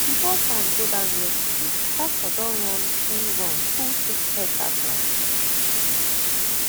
before sun go down yesterday tractor don run full run full six hectare ground